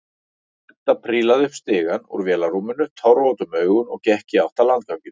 Edda prílaði upp stigann úr vélarrúminu, tárvot um augun og gekk í átt að landganginum.